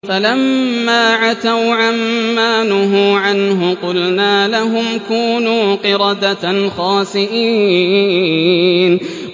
فَلَمَّا عَتَوْا عَن مَّا نُهُوا عَنْهُ قُلْنَا لَهُمْ كُونُوا قِرَدَةً خَاسِئِينَ